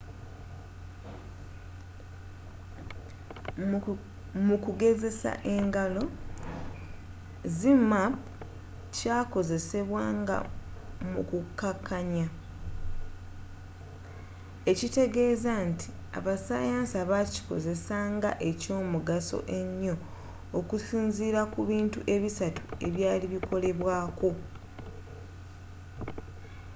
mukugezesa engalo, zmapp kyakozesebwa nga mu kukakanya ekitegeza nti abasayansa bakikozesa nga ekyomugaso ennyo okusinzila ku bintu ebisatu ebyali bikolebwako